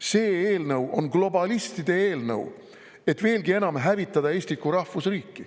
See eelnõu on globalistide eelnõu, et veelgi enam hävitada Eestit kui rahvusriiki.